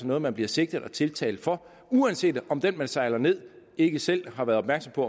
noget man bliver sigtet og tiltalt for uanset om den man sejler ned ikke selv var opmærksom på